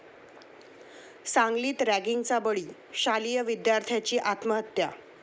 सांगलीत रॅगिंगचा बळी?, शालेय विद्यार्थ्याची आत्महत्या